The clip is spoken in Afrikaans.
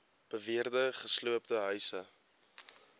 beweerde gesloopte huise